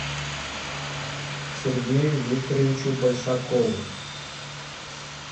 сергею викторовичу большакову